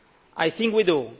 I think we do.